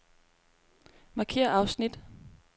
Markér afsnit.